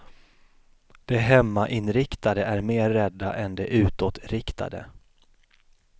De hemmainriktade är mer rädda än de utåtriktade.